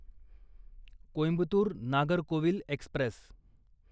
Coimbatore Nagercoil Express